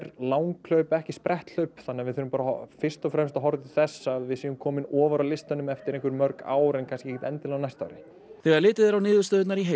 langhlaup ekki spretthlaup þannig að við þurfum bara fyrst og fremst að horfa til þess að við séum komin ofar á listanum eftir einhver mörg ár en kannski ekkert endilega á næsta ári þegar litið er á niðurstöðurnar í heild